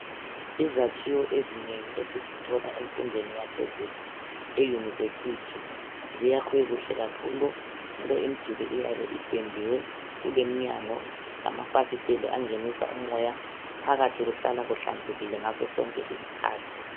Izakhiwo ezinengi esizithola emfundweni yaphezulu euniversity ziyakhwe kuhle kakhulu njalo imiduli iyabe ipendiwe kuleminyango lamafasiteli angenisa umoya phakathi kuhlala kuhlanzekile ngasosonke isikhathi.